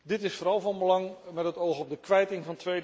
Dit is vooral van belang met het oog op de kwijting